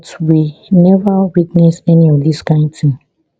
but we neva witness any of dis kain tin